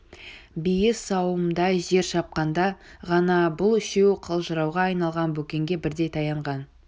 бие сауымдай жер шапқанда ғана бұл үшеуі қалжырауға айналған бөкенге бірдей таянған